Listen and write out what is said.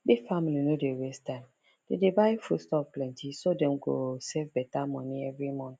big family no dey waste time dem dey buy foodstuff plenty so dem go save better money every month